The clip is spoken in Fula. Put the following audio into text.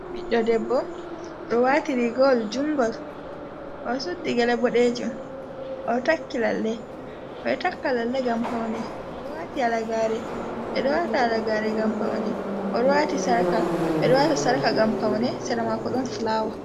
Ɓiɗɗo debbo ɗowati rigoawol juungol, oɗo suddi gele boɗejum, oɗo takki lalle, ɓeɗo taka lalle ngam paune, oɗo wati halagare, ɓeɗo wati halagare ngam paune, ɓe ɗo wati sarka ngam paune, sera mako ɗon fulawa.